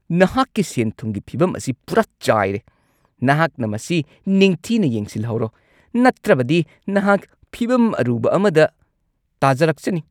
ꯅꯍꯥꯛꯀꯤ ꯁꯦꯟ-ꯊꯨꯝꯒꯤ ꯐꯤꯚꯝ ꯑꯁꯤ ꯄꯨꯔꯥ ꯆꯥꯏꯔꯦ ! ꯅꯍꯥꯛꯅ ꯃꯁꯤ ꯅꯤꯡꯊꯤꯅ ꯌꯦꯡꯁꯤꯜꯍꯧꯔꯣ ꯅꯠꯇ꯭ꯔꯕꯗꯤ ꯅꯍꯥꯛ ꯐꯤꯚꯝ ꯑꯔꯨꯕ ꯑꯃꯗ ꯇꯥꯖꯔꯛꯆꯅꯤ !